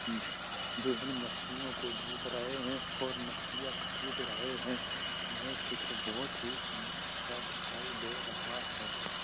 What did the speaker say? जो इन मछलियों को देख रहे हैं और मछलियाँ खरीद रहे हैं। यह चित्र बहुत ही सुंदर सा दिखाई दे रहा है।